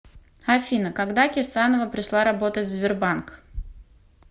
афина когда кирсанова пришла работать в сбербанк